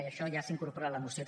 i això ja s’incorpora en la moció